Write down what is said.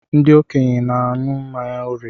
Ndị okenye n'añu mmanya órìè.